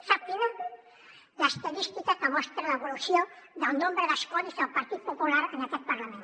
sap quina l’estadística que mostra l’evolució del nombre d’escons del partit popular en aquest parlament